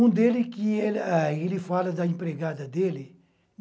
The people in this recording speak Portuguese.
Um dele que, ele fala da empregada dele.